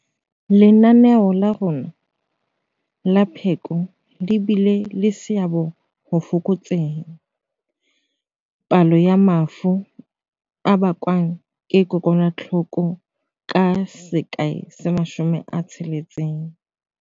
Lenaneo la rona la pheko le bile le seabo ho fokotseng palo ya mafu a bakwang ke AIDS ka 60.